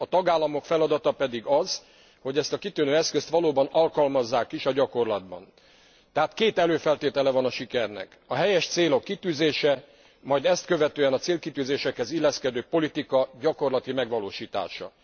A tagállamok feladata pedig az, hogy ezt a kitűnő eszközt valóban alkalmazzák is a gyakorlatban. Tehát két előfeltétele van a sikernek a helyes célok kitűzése, majd ezt követően a célkitűzésekhez illeszkedő politika gyakorlati megvalósítása.